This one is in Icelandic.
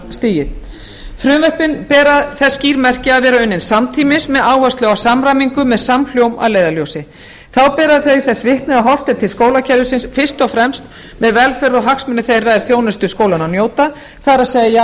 leikskólastigið frumvörpin bera þess skýr merki að vera unnin samtímis með áherslu á samræmingu með samhljóm að leiðarljósi þá bera þau þess vitni að horft er til skólakerfi fyrst og fremst með velferð og hagsmuni þeirra er þjónustu skólanna njóta það er